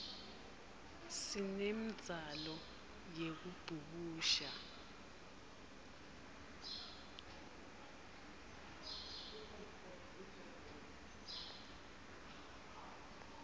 sinemdzalo yekubhukusha